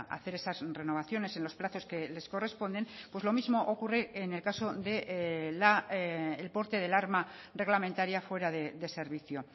hacer esas renovaciones en los plazos que les corresponden pues lo mismo ocurre en el caso del porte del arma reglamentaria fuera de servicio